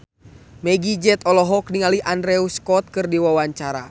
Meggie Z olohok ningali Andrew Scott keur diwawancara